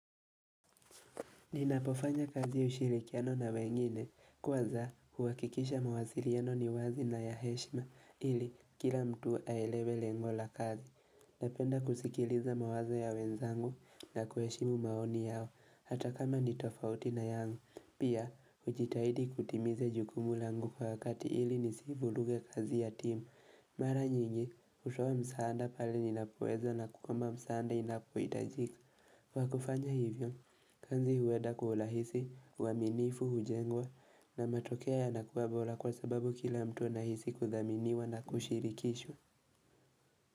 Ninapofanya kazi ushirikiana na wengine. Kwanza, uhakikisha mawasiliano ni wazi na ya heshima ili kila mtu aelewe lengo la kazi. Napenda kusikiliza mawazo ya wenzangu na kuheshimu maoni yao hata kama nitofauti na yangu. Pia, ujitahidi kutimiza jukumu langu kwa wakati ili nisivuruge kazi ya timu. Mara nyingi, ushowe msaada pale ninapoweza na kama msaada inapohitajika. Kwa kufanya hivyo, kazi huenda kwa urahisi, uaminifu, hujengwa, na matokea yanakuwa bora kwa sababu kila mtu anahisi kudhaminiwa na kushirikishwa.